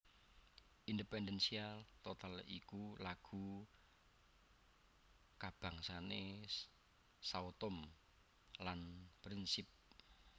Independência total iku lagu kabangsané Sao Tomé lan Principe